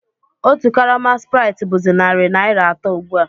Otu karama spráitị bụ̀zị narị naira atọ ugbu a